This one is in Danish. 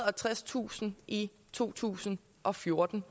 og tredstusind i to tusind og fjorten